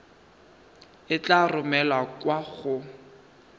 e tla romelwa kwa go